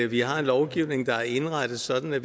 vi har en lovgivning der er indrettet sådan at